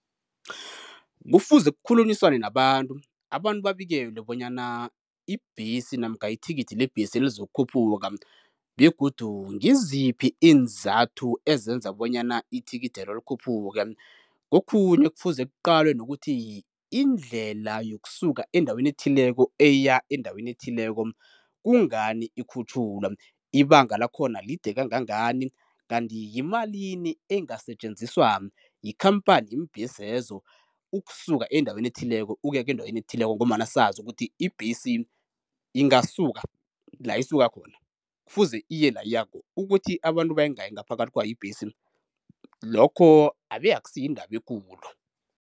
Kufuze kukhulunyiswane nabantu, abantu babikelwe bonyana ibhesi namkha ithikithi lebhesi lizokukhuphuka begodu ngiziphi iinzathu ezenza bonyana ithikithelo likhuphuke. Kokhunye kufuze kuqalwe nokuthi indlela yokusuka endaweni ethileko eya endaweni ethileko kungani ikhutjhulwa, ibanga lakhona lide kangangani kanti yimalini engasetjenziswa yikhampani yeembhesezo ukusuka endaweni ethileko ukuya endaweni ethileko, ngombana sazi ukuthi ibhesi ingasuka la isuka khona kufuze iye la iyako, ukuthi abantu bayingaki ngaphakathi kwayo ibhesi, lokho abe akusi yindaba ekulu.